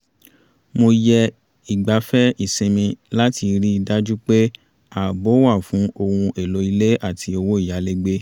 mo yẹ ìgbáfẹ́ ìsinmi láti rí i dájú pé ààbò wà fún ohun éló ilé àti owó ìyálégbé